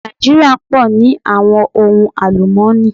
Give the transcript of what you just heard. Nàìjíríà pọ̀ ní àwọn ohun àlùmọ́nì.